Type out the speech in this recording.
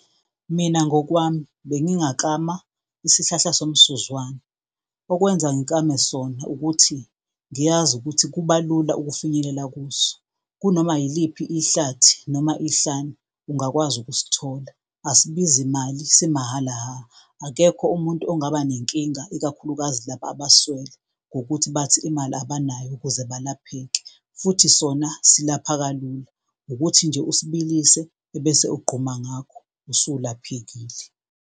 Mina ngokwami bengingaklama isihlahla somsuzwane. Okwenza ngikame sona ukuthi ngiyazi ukuthi kubalula ukufinyelela kuso kunoma yiliphi ihlathi noma ihlane ungakwazi ukusithola, asibizi imali somahhala hha. Akekho umuntu ongaba nenkinga ikakhulukazi labo abaswele ngokuthi bathi imali abanayo ukuze balapheke. Futhi sona silapha kalula, ukuthi nje usibilise ebese uqquma ngakho, usulaphekile.